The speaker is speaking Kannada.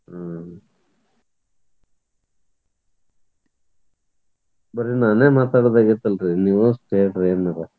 ಹ್ಮ್ ಬರೇ ನಾನ್ ಮಾತಾಡುದ್ ಆಗೇತಲ್ರಿ ನೀವಷ್ಟ ಹೇಳ್ರಿ ಏನಾರ.